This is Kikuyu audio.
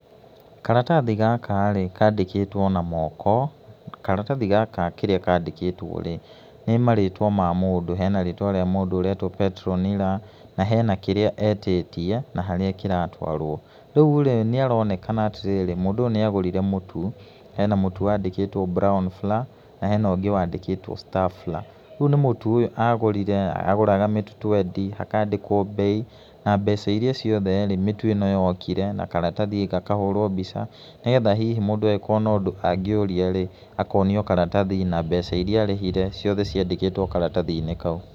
Karatathi gaka rĩ, kandĩkĩtwo na moko, karatathi gaka kĩrĩa kandĩkĩtwo rĩ, nĩ marĩtwa ma mũndũ hena rĩtwa rĩa mũndũ ũretwo Petronira, na hena kĩrĩa etĩtie na harĩa ĩratwarwo. Rĩu rĩ, nĩ aronekana atĩ rĩrĩ mũndũ ũyũ nĩ agũrire mũtu, hena mũtu wandĩkĩtwo brown flour [cd] na hena ũngĩ wandĩkĩtwo star flour rĩu nĩ mũtu ũyũ agũrire, agũraga mĩu twendi hakandĩkwo mbei na mbeca iria iothe mĩtu ĩnoyokire na karatathi gakahũrwo mbica nĩ getha hihi mũndũ ekuona ũndũ angĩũria rĩ, akonio karatathi na mbeca iria arĩhire na mbeca iria arĩhire ciothe ciandĩkĩtwo karatathi-inĩ kau.